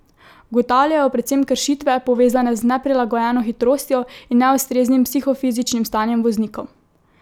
Ugotavljajo predvsem kršitve, povezane z neprilagojeno hitrostjo in neustreznim psihofizičnim stanjem voznikov.